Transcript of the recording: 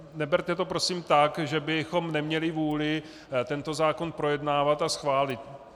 Neberte to prosím tak, že bychom neměli vůli tento zákon projednávat a schválit.